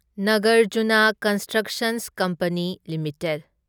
Nagarjuna construction company limited